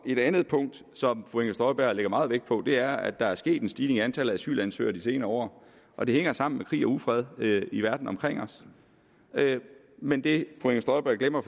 et andet punkt som fru inger støjberg lægger meget vægt på er at der er sket en stigning i antallet af asylansøgere de senere år og det hænger sammen med krig og ufred i verden omkring os men det fru inger støjberg glemmer at